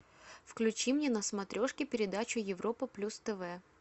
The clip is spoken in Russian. включи мне на смотрешке передачу европа плюс тв